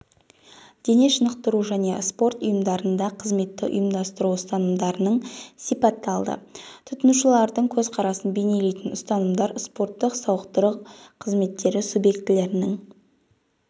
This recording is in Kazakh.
дене шынықтыру және спорт ұйымдарында қызметті ұйымдастыру ұстанымдарының сипатталды тұтынушылардың көзқарасын бейнелейтін ұстанымдар спорттық-сауықтыру қызметтері субъектілерінің